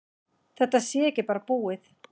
Þetta sé ekki bara búið.